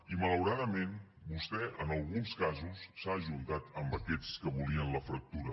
i malauradament vostè en alguns casos s’ha ajuntat amb aquests que volien la fractura